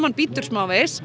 hann bítur smávegis